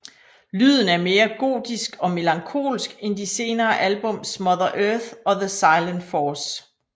Lyden er mere gotisk og melankolsk end de senere albums Mother Earth og The Silent Force